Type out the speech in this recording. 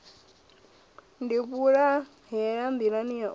ni vhulahela nḓilani ya u